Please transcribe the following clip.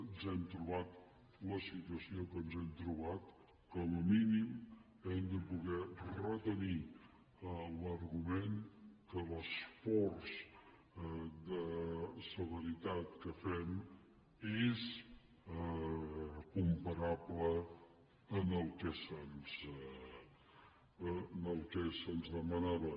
ens hem trobat la situació que ens hem trobat com a mínim hem de poder retenir l’argument que l’esforç de severitat que fem és comparable al que se’ns demanava